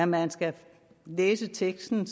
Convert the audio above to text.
man skal læse teksten